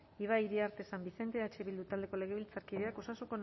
ibai iriarte san vicente eh bildu taldeko legebiltzarkideak